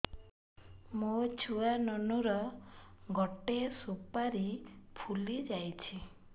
ମୋ ଛୁଆ ନୁନୁ ର ଗଟେ ସୁପାରୀ ଫୁଲି ଯାଇଛି